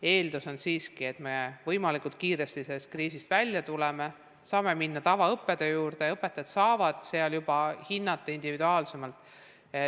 Eeldus on siiski, et me võimalikult kiiresti sellest kriisist välja tuleme, saame minna tavaõppetöö juurde ja õpetajad saavad juba hinnata individuaalsemalt.